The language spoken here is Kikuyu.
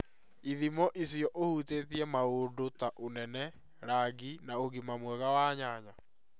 Ithimo icio ũhutĩtie maũndu ta ũnene, rangi, na ũgima mwega wa nyanya.